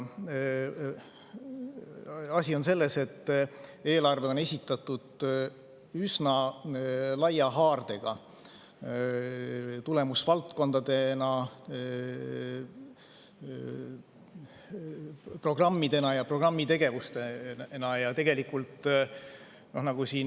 Asi on selles, et eelarve on esitatud üsna laia haardega, tulemusvaldkondadena, programmidena ja programmitegevustena.